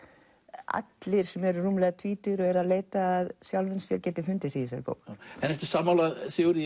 allir sem eru rúmlega tvítugir og eru að leita að sjálfum sér geti fundið sig í þessari bók ertu sammála Sigurði